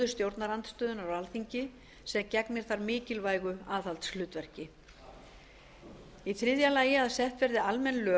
stjórnarandstöðunnar á alþingi sem gegnir þar mikilvægu aðhaldshlutverki þriðja að sett verði almenn lög